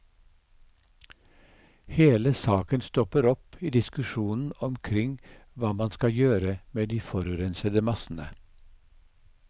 Hele saken stopper opp i diskusjonen omkring hva man skal gjøre med de forurensede massene.